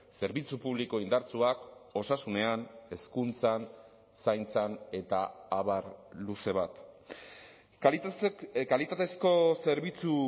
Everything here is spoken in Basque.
zerbitzu publiko indartsuak osasunean hezkuntzan zaintzan eta abar luze bat kalitatezko zerbitzu